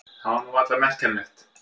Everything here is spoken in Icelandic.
Það var nú varla merkjanlegt.